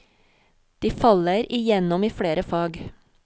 De faller igjennom i flere fag.